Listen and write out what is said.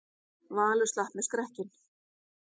Valur slapp með skrekkinn